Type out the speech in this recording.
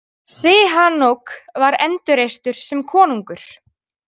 Sihanouk var endurreistur sem konungur.